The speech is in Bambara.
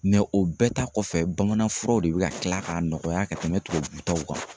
o bɛɛ ta kɔfɛ bamananfuraw de bɛ ka kila k'a nɔgɔya ka tɛmɛ tubabu taw kan.